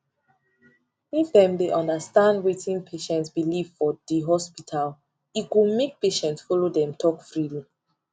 if them dey understand wetin patient belief for the hospital e go make patients follow them talk freely